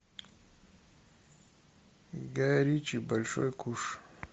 гай ричи большой куш